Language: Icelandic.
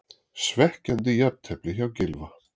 Svekkjandi jafntefli hjá Gylfa